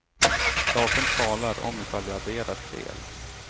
Datorn talar om ifall jag adderar fel.